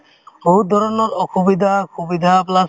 বহুত ধৰণৰ অসুবিধা-সুবিধা plus